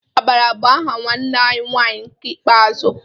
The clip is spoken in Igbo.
Amara bu aha nwanne anyi nwanyị nke ikpeazụ